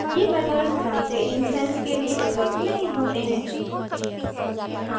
ये methods class के instance के लिए उपलब्ध नहीं होते हैं